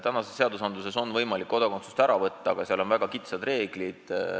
Praeguste seaduste järgi on võimalik kodakondsust ära võtta, aga selle kohta on väga kitsas reeglistik.